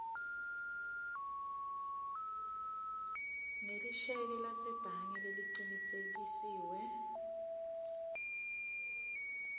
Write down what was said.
ngelisheke lasebhange lelicinisekisiwe